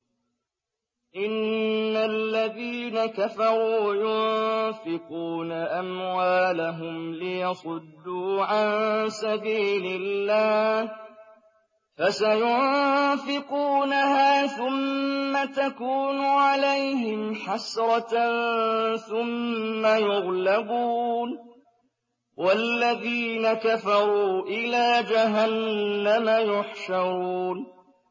إِنَّ الَّذِينَ كَفَرُوا يُنفِقُونَ أَمْوَالَهُمْ لِيَصُدُّوا عَن سَبِيلِ اللَّهِ ۚ فَسَيُنفِقُونَهَا ثُمَّ تَكُونُ عَلَيْهِمْ حَسْرَةً ثُمَّ يُغْلَبُونَ ۗ وَالَّذِينَ كَفَرُوا إِلَىٰ جَهَنَّمَ يُحْشَرُونَ